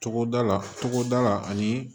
Togoda la togoda la ani